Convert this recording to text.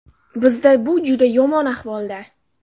Bizda bu juda yomon ahvolda.